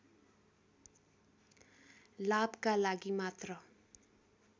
लाभका लागि मात्र